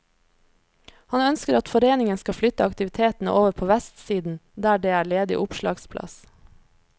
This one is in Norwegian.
Han ønsker at foreningen skal flytte aktiviteten over på vestsiden der det er ledig opplagsplass.